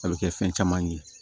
A bɛ kɛ fɛn caman ye